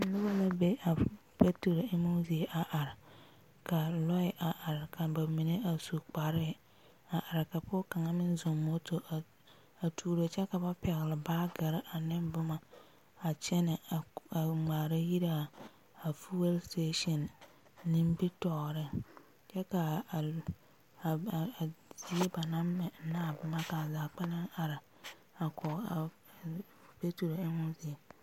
Noba la be a f peeturo emmo zie a are, ka lɔɛ a are ka noba su kparɛɛ a are ka pɔge kaŋa meŋ zɔŋ moto a tuuro kyɛ ka ba pɛgle baagere aneŋ boma a kyɛnɛ a ŋmaara yire a fuyɛl seteesini nimbitɔɔreŋ kyɛ ka a, a a zie ba naŋ mɛ ka a zaa kpɛlɛŋ are a kɔge a peeturo emmo zie.